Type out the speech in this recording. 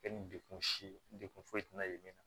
Kɛ ni dekun si ye dekun foyi tɛna ye min na